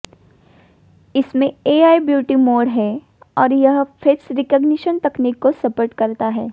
इसमें AI beauty mode है और यह फेस रिकग्निशन तकनीक को सपोर्ट करता है